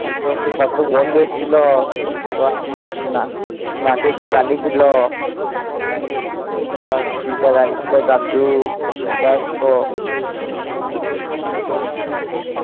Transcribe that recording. আস্তে আস্তে কত বন্ধু এসছিল। দাঁড়িয়ে ছিল। দিদা দাঁড়িয়েছিল, দাদু বয়স্ক